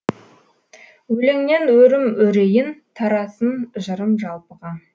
өлеңнен өрім өрейін тарасын жырым жалпыға